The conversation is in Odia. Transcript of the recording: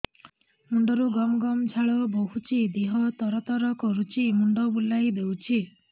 ମୁଣ୍ଡରୁ ଗମ ଗମ ଝାଳ ବହୁଛି ଦିହ ତର ତର କରୁଛି ମୁଣ୍ଡ ବୁଲାଇ ଦେଉଛି